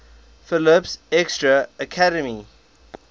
phillips exeter academy